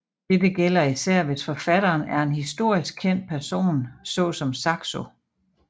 Dette gælder især hvis forfatteren er en historisk kendt person så som Saxo